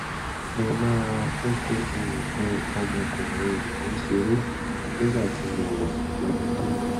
mo máa ń fi nǹkan ọmọkùnrin mi ṣeré nígbà tí mo wà lọ́mọdé